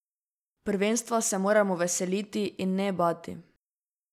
Prvenstva se moramo veseliti in ne bati.